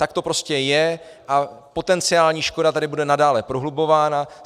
Tak to prostě je a potenciální škoda tady bude nadále prohlubována.